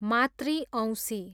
मातृ औँसी